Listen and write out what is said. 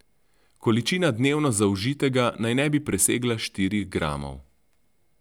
Količina dnevno zaužitega naj ne bi presegla štirih gramov.